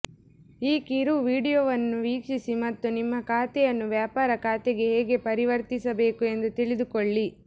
ಈ ಕಿರು ವೀಡಿಯೊವನ್ನು ವೀಕ್ಷಿಸಿ ಮತ್ತು ನಿಮ್ಮ ಖಾತೆಯನ್ನು ವ್ಯಾಪಾರ ಖಾತೆಗೆ ಹೇಗೆ ಪರಿವರ್ತಿಸಬೇಕು ಎಂದು ತಿಳಿದುಕೊಳ್ಳಿ